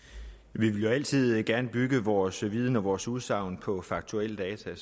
vi vil jo altid gerne bygge vores viden og vores udsagn på faktuelle data